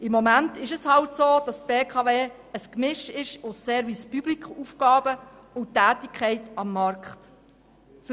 Im Moment ist es halt so, dass die BKW ein Gemisch aus Aufgaben des Service public und der Tätigkeit am Markt ist.